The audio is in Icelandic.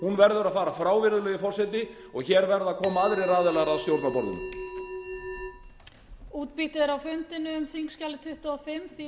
hún verður að fara frá virðulegi forseti og hér verða að koma aðrir aðilar að stjórnarborðinu